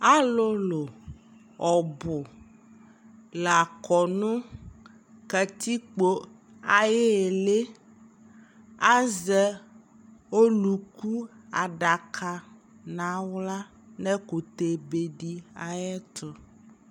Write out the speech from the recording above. alʋlʋ ɔbʋ lakɔ nʋ katikpɔ ayili, azɛ ɔlʋkʋ adaka nʋ ala nʋ ɛkʋtɛ bɛ di ayɛtʋ